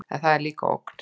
En það er líka ógn.